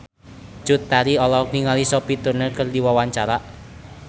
Cut Tari olohok ningali Sophie Turner keur diwawancara